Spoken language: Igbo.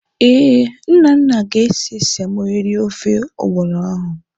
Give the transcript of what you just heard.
Ee, Nnanna ga-ese semo eri ofe ọgbọnọ ahụ.